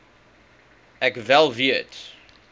ek wel weet